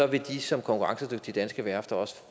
vil de som konkurrencedygtige danske værfter også